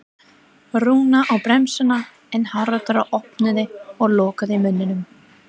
Rúna á bremsuna en Haraldur opnaði og lokaði munninum.